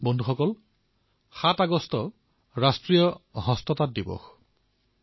বন্ধুসকল ৭ আগষ্টত ৰাষ্ট্ৰীয় হস্ততাঁত দিৱস পালন কৰা হব